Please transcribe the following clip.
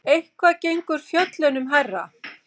Eitthvað gengur fjöllunum hærra